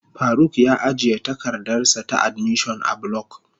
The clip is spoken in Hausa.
Faruk ya ajiye takardarsa ta admission a block.